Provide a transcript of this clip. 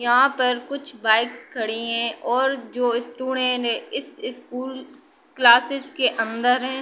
यहां पर कुछ बाइक्स खड़ी हैं और जो इस इस स्कूल क्लासेस के अंदर हैं।